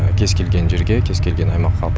кез келген жерге кез келген аймаққа